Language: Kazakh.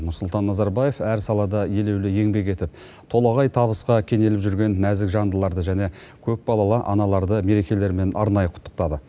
нұрсұлтан назарбаев әр салада елеулі еңбек етіп толағай табысқа кенеліп жүрген нәзік жандыларды және көпбалалы аналарды мерекелерімен арнайы құттықтады